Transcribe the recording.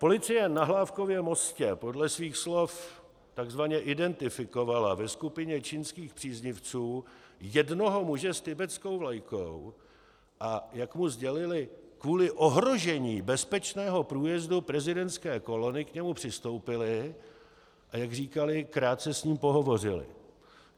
Policie na Hlávkově mostě podle svých slov takzvaně identifikovala ve skupině čínských příznivců jednoho muže s tibetskou vlajkou, a jak mu sdělili, kvůli ohrožení bezpečného průjezdu prezidentské kolony k němu přistoupili, a jak říkali, krátce s ním pohovořili.